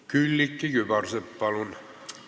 Külliki Kübarsepp, palun!